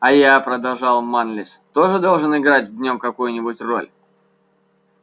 а я продолжал манлис тоже должен играть в нём какую-нибудь роль